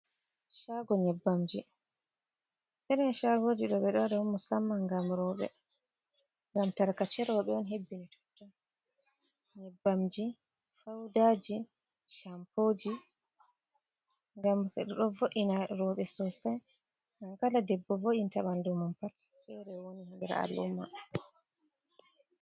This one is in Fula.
Chago nyebbam ji irin chagoji ɗo ɓeɗo waɗa musamman gam roɓɓe, ngam tarkace roɓɓe on hebbini totton nyebbamji, faudaji, champoji, ngam ɗo vo’ina roɓɓe sosai ngam kala debbo vo’inta ɓandumum pat fere woni ha nder a'luma.